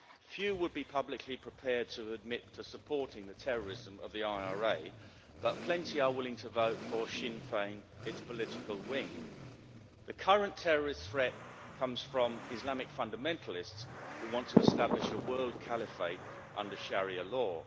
Few would be publicly prepared to admit to supporting the terrorism of the IRA, but plenty are willing to vote for Sinn Féin, its political wing. The current terrorist threat comes from Islamic fundamentalists who want to establish a world caliphate under Sharia law.